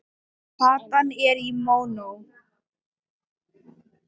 Platan er í mónó.